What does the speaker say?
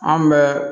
Anw bɛ